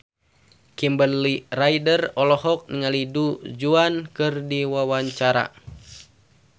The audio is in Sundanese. Kimberly Ryder olohok ningali Du Juan keur diwawancara